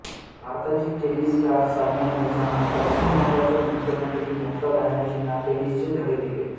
भारताची tennis star Sania मिर्झानं पश्चिम बंगालच्या मुख्यमंत्री ममता बॅनर्जींना टेनिसचे धडे दिले